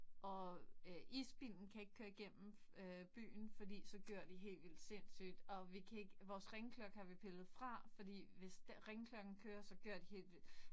Og øh isbilen kan ikke køre igennem øh byen fordi så gør de helt vildt sindssygt, og vi kan ikke vores ringeklokke har vi pillet fra, fordi hvis ringeklokken kører, så gør de helt vildt